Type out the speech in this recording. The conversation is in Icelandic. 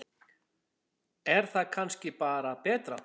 Er það kannski bara betra?